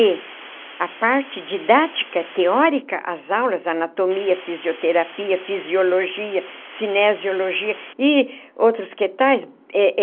E a parte didática, teórica, as aulas, anatomia, fisioterapia, fisiologia, cinesiologia e outros que tais.